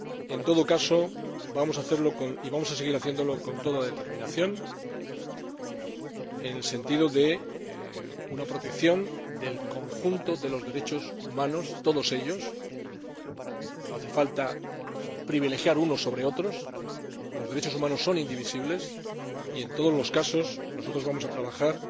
En todo caso, vamos a seguir haciéndolo con toda determinación en el sentido de una protección del conjunto de los derechos humanos —todos ellos—, no hay que privilegiar a unos con respecto a otros, ya que los derechos humanos son indivisibles y en todos los casos nosotros vamos a trabajar